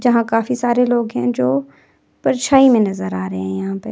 जहां काफी सारे लोग हैं जो परछाई में नजर आ रहे हैं यहां पे।